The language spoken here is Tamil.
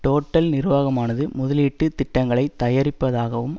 டோட்டல் நிர்வாகமானது முதலீட்டு திட்டங்களை தயாரிப்பதாகவும்